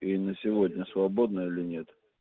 и на сегодня свободна или нет